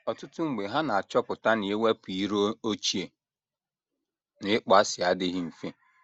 Ọtụtụ mgbe ha na - achọpụta na iwepụ iro ochie na ịkpọasị adịghị mfe.